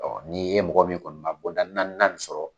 Ɔɔ ni e mɔgɔ min kɔni ma bɔnda naanina in sɔrɔ